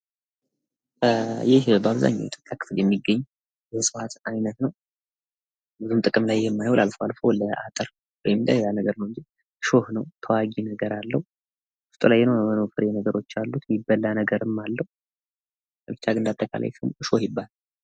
ይህ በአብዛኛው የኢትዮጵያ ክፍል የሚገኝ እጽዋት አይነት ነው። ምንም ጥቅም ላይ የማይውል አልፎ አልፎ ላጥር ወይም ለሆነ ነገር ፣ እሾህ ነው። ተዋጊ ነገር አለው። ዉስጥ ላይ የሆነ የሆን ፍሬ ነገሮች አሉት። የሚበላ ነገርም አለው። ብቻ ግን እንደ አጠቃላይ እሾህ ይባላል።